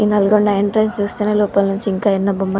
ఈ నల్గొండ ఎంట్రన్స్ చూస్తేనే లోపల నించి ఇంకా ఎన్నో బొమ్మలు --